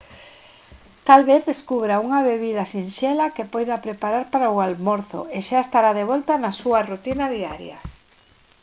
tal vez descubra unha bebida sinxela que poida preparar para o almorzo e xa estará de volta na súa rutina diaria